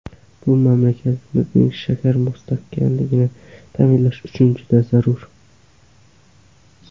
Bu mamlakatimizning shakar mustaqilligini ta’minlash uchun juda zarur.